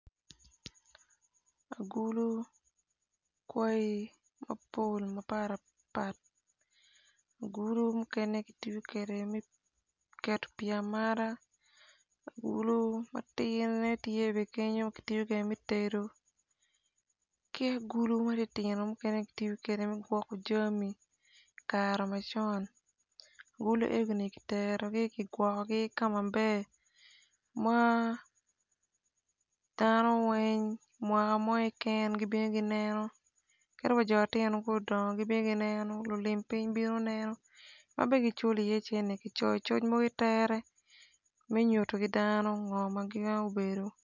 Agulu kwaig mapol mapat pat agulu mukene gitiyo kede me keto pii amata agulu matidine tye bene me tedo ki agulu matinotino mukene gitiyo kede me gwoko jami kare macon agulu egoni kiterogi kigwokogi ka maber ma dano weng mwaka mo keken gibino gineno kadi wa jo matino ka odongo gibino gineno lulim piny bino neno ma bene giculo iye cene kicoyo coc mogo itere me nyuto ki dan ngo gin obedo.